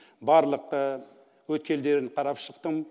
барлық өткелдерін қарап шықтым